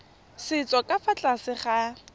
setso ka fa tlase ga